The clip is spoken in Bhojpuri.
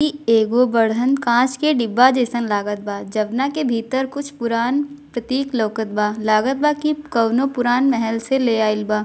इ एगो बड़हन कांच के डिब्बा जेसन लागत बा जोउना के भीतर कुछ पुराण प्रतीक लोकत बा लागत बा की कोनो पुराण महल से ले आइल बा।